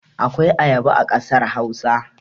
Akwai ayaba a kasar Hausa.